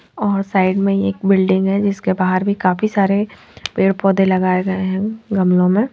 अ side में एक building है जिसके बाहार भी काफी सारे पेड़ पौदे भी लगाए गये है गमलोंमे।